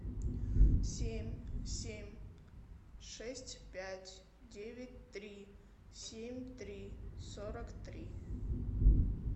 семь семь шесть пять девять три семь три сорок три